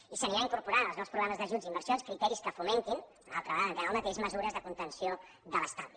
i s’anirà incorporant en els nous programes d’ajuts i inversions criteris que fomentin una altra vegada entrem en el mateix mesures de contenció de l’estalvi